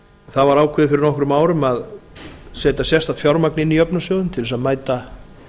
það var ákveðið eftir nokkrum árum að setja sérstakt fjármagn inn í jöfnunarsjóðinn til þess að mæta